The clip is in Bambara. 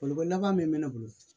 laban min bɛ ne bolo